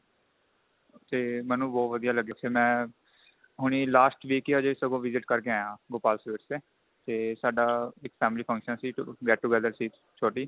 ਤੇ ਮੈਨੂੰ ਬਹੁਤ ਵਧੀਆ ਲੱਗਿਆ ਫੇਰ ਮੈਂ ਹੁਣੀ last week ਹੀ ਸਗੋ ਹਜੇ visit ਕਰਕੇ ਆਇਆ Gopal sweet ਤੇ ਤੇ ਸਾਡਾ ਇੱਕ family function ਸੀ get to gather ਸੀ ਛੋਟੀ